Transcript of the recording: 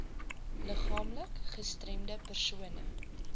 liggaamlik gestremde persone